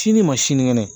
Sini ma sinikɛnɛ